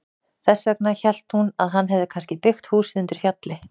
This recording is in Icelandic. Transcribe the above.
Þess vegna hélt hún að hann hefði kannski byggt húsið undir fjalli.